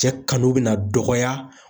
Cɛ kanu bɛna dɔgɔya.